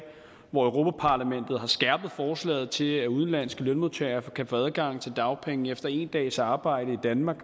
hvor europa parlamentet har skærpet forslaget til at udenlandske lønmodtagere kan få adgang til dagpenge efter en dags arbejde i danmark